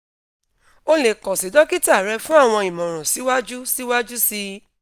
o le kan si dokita rẹ fun awọn imọran siwaju siwaju sii